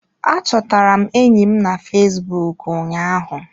A chọtara m enyi m na Fesbụụk ụnyaahu